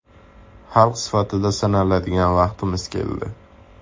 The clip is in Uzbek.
Xalq sifatida sinaladigan vaqtimiz keldi.